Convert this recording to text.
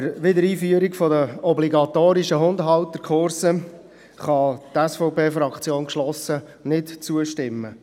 Der Wiedereinführung obligatorischer Hundehalterkurse kann die SVP-Fraktion geschlossen nicht zustimmen.